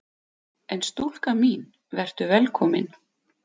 En stúlka mín: Vertu velkomin!